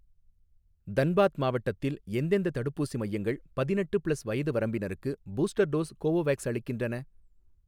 தன்பாத் மாவட்டத்தில் எந்தெந்த தடுப்பூசி மையங்கள் பதினெட்டு ப்ளஸ் வயது வரம்பினருக்கு பூஸ்டர் டோஸ் கோவோவேக்ஸ் அளிக்கின்றன?